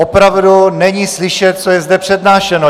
Opravdu není slyšet, co je zde přednášeno!